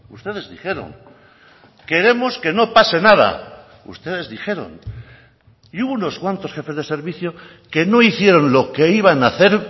ustedes dijeron queremos que no pase nada ustedes dijeron y hubo unos cuantos jefes de servicio que no hicieron lo que iban a hacer